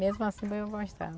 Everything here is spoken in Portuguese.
Mesmo assim, eu gostava.